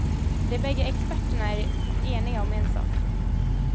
De bägge experterna är eniga om en sak.